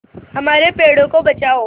हमारे पेड़ों को बचाओ